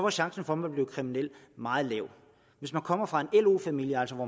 chancen for at man bliver kriminel meget lille hvis man kommer fra en lo familie altså hvor